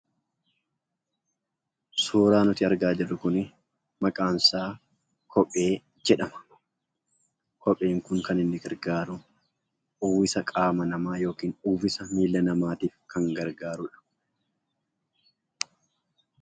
Suuraan nuti argaa jirru kun maqaan isaa kophee jedhama. Kopheen Kun kan inni gargaaru uwwisa qaama nama yookiin uwwisa miila namaatiif kan gargaarudha.